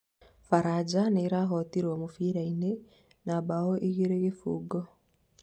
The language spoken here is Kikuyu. baranja niĩrahotirwo mũbira-inĩ na mbao igĩrĩ kibũgu